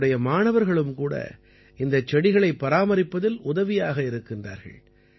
இவருடைய மாணவர்களும் கூட இந்தச் செடிகளைப் பராமரிப்பதில் உதவியாக இருக்கின்றார்கள்